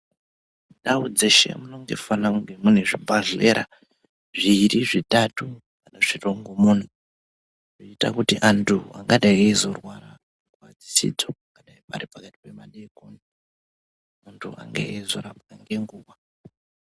Ndau dzeshe munofane kunge mune zvibhedhlera zviiri, zvitatu nezvirongomuna. Zvinoita kuti antu angadai rizorwara nguva dzisidzo, pangadai pari pakati pemadeekoni muntu ange eizorapwa ngenguva.